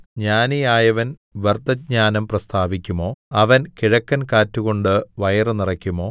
ജ്ഞാനിയായവൻ വ്യർത്ഥജ്ഞാനം പ്രസ്താവിക്കുമോ അവൻ കിഴക്കൻ കാറ്റുകൊണ്ട് വയറുനിറയ്ക്കുമോ